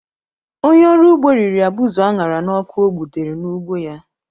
Onye ọrụ ugbo riri abụzụ a ṅara n’ọkụ ọ gbutere n’ugbo ya